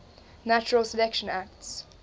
natural selection acts